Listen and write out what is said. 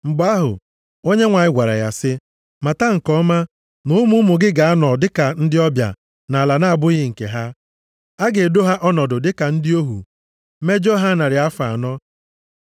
Mgbe ahụ, Onyenwe anyị gwara ya sị, “Mata nke ọma na ụmụ ụmụ gị ga-anọ dịka ndị ọbịa nʼala na-abụghị nke ha. A ga-edo ha ọnọdụ dịka ndị ohu, mejọọ ha narị afọ anọ.